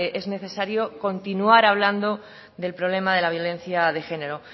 es necesario continuar hablando del problema de la violencia de género